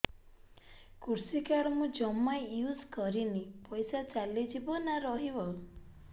କୃଷି କାର୍ଡ ମୁଁ ଜମା ୟୁଜ଼ କରିନି ପଇସା ଚାଲିଯିବ ନା ରହିବ